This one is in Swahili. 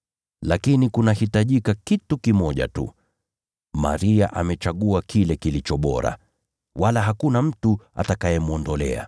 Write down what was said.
Lakini kunahitajika kitu kimoja tu. Maria amechagua kile kilicho bora, wala hakuna mtu atakayemwondolea.”